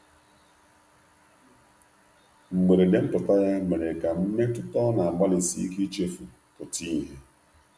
mgberede mputa ya mere ka mmetụta ọ na agbali sike ichefu pụta ihe